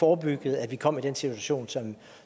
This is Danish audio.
forebygget at vi kom i den situation